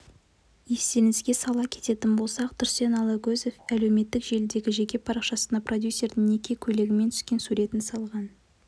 естеріңізге сала кететін болсақ тұрсен алагөзов әлеуметтік желідегі жеке парақшасына продюсердің неке көйлегімен түскен суретін салған